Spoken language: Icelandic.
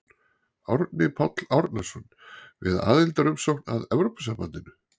Árni Páll Árnason: Við aðildarumsókn að Evrópusambandinu?